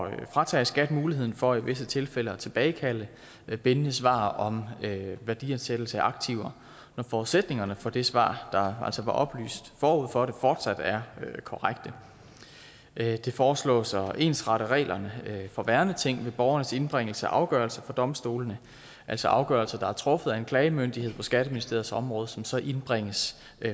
at fratage skat muligheden for i visse tilfælde at tilbagekalde bindende svar om værdiansættelse af aktiver når forudsætningerne for det svar der altså var oplyst forud for det fortsat er korrekte det foreslås at ensrette reglerne for værneting ved borgernes indbringelse af afgørelser for domstolene altså afgørelser der er truffet af en klagemyndighed på skatteministeriets område og som så indbringes